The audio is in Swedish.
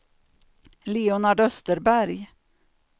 Leonard Österberg